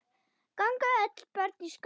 Ganga öll börn í skóla.